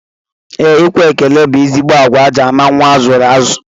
Ee, ikwe ekele bụ ezigbo agwa e ji ama nnwa a zụrụ azụ